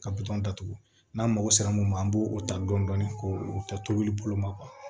Ka datugu n'an mago sera mun ma an b'o ta dɔni ko o ta tobili bolo ma kuwa